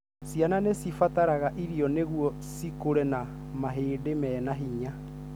Ciana nĩ cibataraga iria nĩguo cikũre na mahĩndi mena hinya.